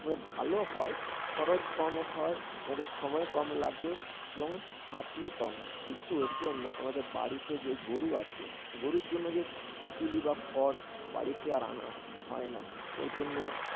তবে ভালো হয়, খরচ কম হয়, আমাদের সময় কম লাগে এবং খাটনি কম হয়। কিন্তু এর জন্য আমাদের বাড়িতে যে গরু আছে, গরুর জন্য যে বিচালি বা খড় বাড়িতে আর আনা হয় না